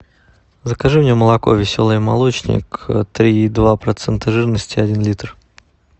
закажи мне молоко веселый молочник три и два процента жирности один литр